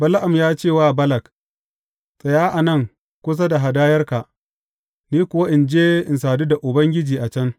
Bala’am ya ce wa Balak, Tsaya nan kusa da hadayarka, ni kuwa in je in sadu da Ubangiji a can.